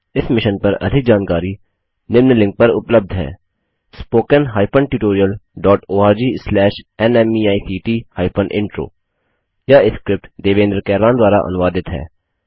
इस मिशन पर अधिक जानकारी के लिए उपलब्ध लिंक पर संपर्क करें spoken hyphen tutorial dot org slash NMEICT hyphen intro यह स्क्रिप्ट देवेन्द्र कैरवान द्वारा अनुवादित है